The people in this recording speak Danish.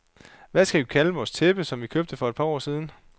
Hvad skal vi kalde vores tæppe, som vi købte for et par år siden.